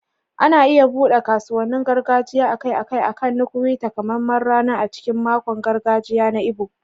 Ana iya buɗe kasuwannin gargajiya akai-akai akan Nkwo, takamaiman rana a cikin makon gargajiya na Igbo.